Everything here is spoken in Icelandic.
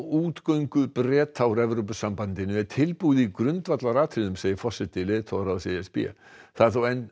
útgöngu Breta úr Evrópusambandinu er tilbúið í grundvallaratriðum segir forseti leiðtogaráðs e s b það er þó enn